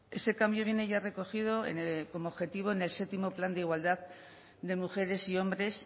ese cambio viene ya recogido como objetivo en el séptimo plan de igualdad de mujeres y hombres